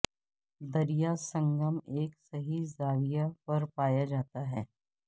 دریا سنگم ایک صحیح زاویہ پر پایا جاتا ہے